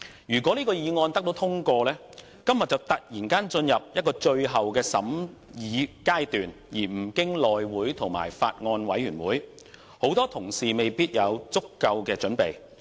如果這項議案獲通過，《條例草案》今天便會突然進入最後全體委員會審議階段，而不經內務委員會和法案委員會，很多同事未必有足夠的準備。